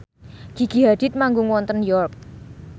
Gigi Hadid manggung wonten York